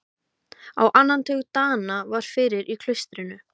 Á annan tug Dana var fyrir í klaustrinu.